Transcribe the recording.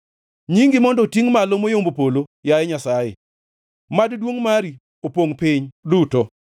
Nyingi mondo otingʼ malo moyombo polo, yaye Nyasaye, mad duongʼ mari opongʼ piny duto.